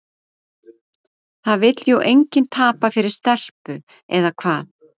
Það vill jú enginn tapa fyrir stelpu, eða hvað?